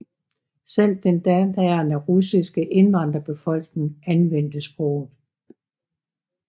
Selv den daværende russiske indvandrerbefolkning anvendte sproget